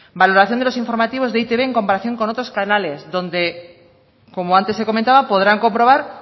valoración de los informativos de e i te be en comparación con otros canales donde como antes se comentaba podrán comprobar